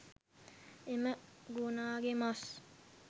එම ගෝනාගේ මස්